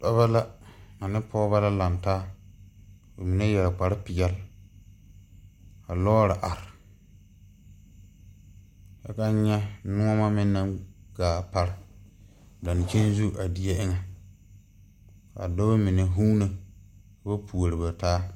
Dɔba la ane pɔgeba la laŋtaa ba mine yɛre kparepeɛle ka lɔɔre are kyɛ ka n nyɛ nuoma naŋ gaa pare dankyini zu a die eŋɛ a dɔba mine vuuno ka ba puori ba taa.